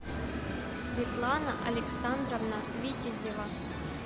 светлана александровна витязева